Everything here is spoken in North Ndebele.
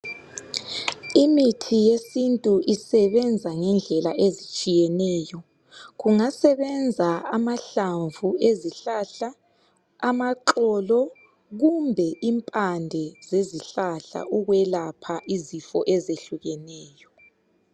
Imithi yesintu isebenza ngendlela ezitshiyeneyo. Kungasebenza amahlamvu ezihlahla, amaxolo kumbe impande zezihlahla ukwelapha izifo ezehlukeneyo.